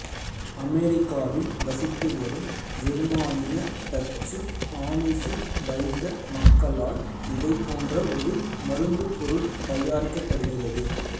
அமெரிக்காவில் வசித்து வரும் ஜெருமானிய டச்சு ஆமிசு வைக மக்களால் இதைப் போன்ற ஒரு மருந்துப்பொருள் தயாரிக்கப்படுகிறது